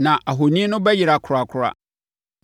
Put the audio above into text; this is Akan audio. na ahoni no bɛyera korakora.